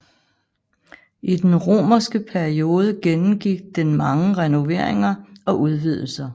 I den romerske periode gennemgik den mange renoveringer og udvidelser